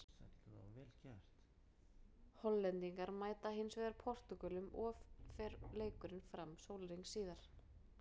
Hollendingar mæta hinsvegar Portúgölum of fer leikurinn fram sólarhring síðar.